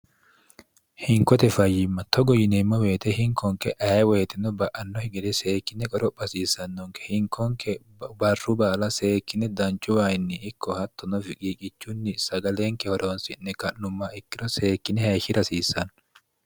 hinkote fayyimma togo yineemmo beete hinkonke ae woyitino ba'anno higide seekkine goro phasiissannonke hinkonke barru baala seekkine danchu ayinni ikko hattonofi qiiqichunni sagaleenke horoonsi'ne ka'numma ikkiro seekkine heeshshi rasiissanno